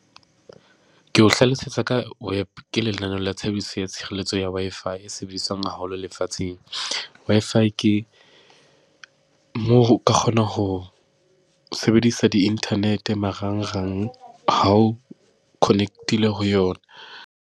Ke o hlalosetsa ka wep, ke lenaneo la tshebediso ya tshireletso ya Wi-Fi e sebediswang haholo lefatsheng. Wi-Fi ke moo o ka kgona ho sebedisa di-internet marangrang ha o connect-ile ho yona.